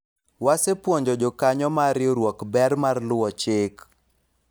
wasepuonjo jokanyo mar riwruok ber mar luwo chik